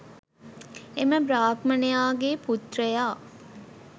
එම බ්‍රාහ්මණයා ගේ් පුත්‍රයා